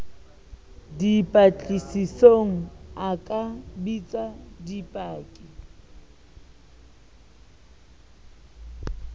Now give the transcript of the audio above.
dipatlisisong a ka bitsa dipaki